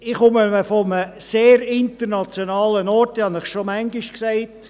Ich komme von einem sehr internationalen Ort, ich habe es Ihnen schon mehrmals gesagt: